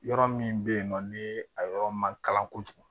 Yɔrɔ min bɛ yen nɔ ni a yɔrɔ ma kalan kojugu